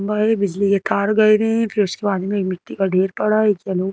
खम्भा है बिजली के तार गए हुए हैं फिर उसके बाद में एक मिट्टी का ढेर पड़ा है एक यलो --